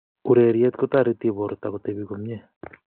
Ureriet kotariti borto kotepi komnye